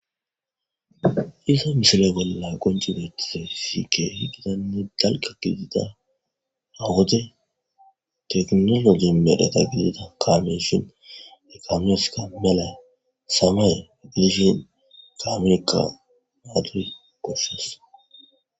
Haysa misile bolla qonci betizaysi kehi Gitanne dalga gidida keehi Mino gimbe eta kameiyshn , eta medhoyka samaye gidishin kaameyka hageyi goshasi ..